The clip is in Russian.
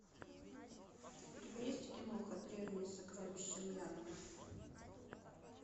у тебя есть киноха древние сокровища мьянмы